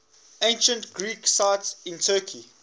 ancient greek sites in turkey